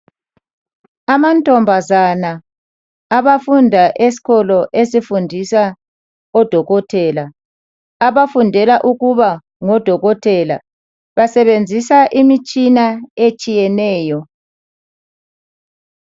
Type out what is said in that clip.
Amantombazana abafunda eskolo esifundisa odokotela. Abafundela ukuba ngodokotela, basebenzisa imitshina etshiyeneyo.